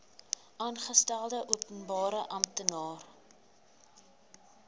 aangestelde openbare amptenaar